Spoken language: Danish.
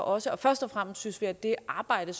også først og fremmest synes vi at det arbejde